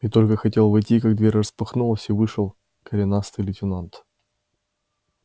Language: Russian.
и только хотел войти как дверь распахнулась и вышел коренастый лейтенант